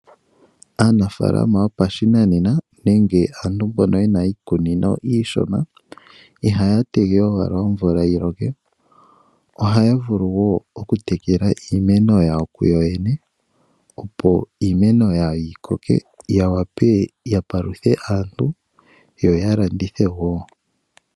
Aanafaalama yomethimbo lyo ngaashingeyi mboka yena iikunino iishona ihaa tege owala omvula yi loke, ihe ohaa vulu woo oku tekela iimeno yawo opo yi koke yo ya wape ya paluthe aakwanegumbo lyawo no ya landithe woo.